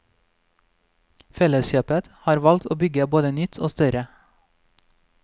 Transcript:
Felleskjøpet har valgt å bygge både nytt og større.